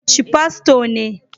Chi Fasto ne